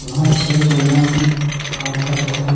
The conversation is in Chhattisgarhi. वहाँ छः बंदा मन काम करत हावे--